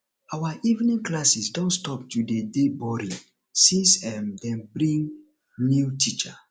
our evening classes don stop to dey dey boring since um dey bring new teacher